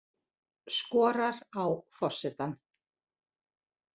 Skorar á forsetann